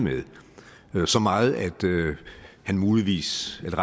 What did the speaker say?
med så meget at han muligvis kan